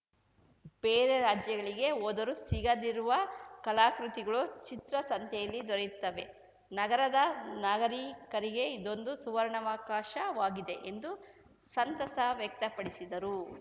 ಬೇರೆ ರಾಜ್ಯಗಳಿಗೆ ಹೋದರೂ ಸಿಗದಿರುವ ಕಲಾಕೃತಿಗಳು ಚಿತ್ರಸಂತೆಯಲ್ಲಿ ದೊರೆಯುತ್ತವೆ ನಗರದ ನಾಗರಿಕರಿಗೆ ಇದೊಂದು ಸುವರ್ಣಾವಕಾಶವಾಗಿದೆ ಎಂದು ಸಂತಸ ವ್ಯಕ್ತಪಡಿಸಿದರು